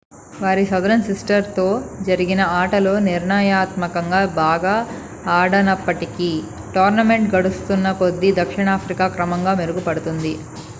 వారి southern sistersతో జరిగిన ఆటలో నిర్ణయాత్మకంగా బాగా ఆడనప్పటికీ టోర్నమెంట్ గడుస్తున్న కొద్ది దక్షిణాఫ్రికా క్రమంగా మెరుగుపడింది